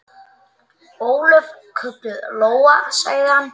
Ólöf, kölluð Lóa, sagði hann.